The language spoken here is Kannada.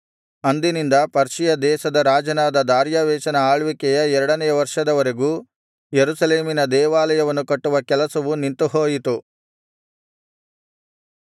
ಅಂದಿನಿಂದ ಪರ್ಷಿಯ ದೇಶದ ರಾಜನಾದ ದಾರ್ಯಾವೆಷನ ಆಳ್ವಿಕೆಯ ಎರಡನೆಯ ವರ್ಷದವರೆಗೂ ಯೆರೂಸಲೇಮಿನ ದೇವಾಲಯವನ್ನು ಕಟ್ಟುವ ಕೆಲಸವು ನಿಂತುಹೋಯಿತು